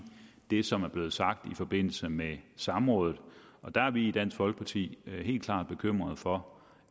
det som er blevet sagt i forbindelse med samrådet der er vi i dansk folkeparti helt klart bekymrede for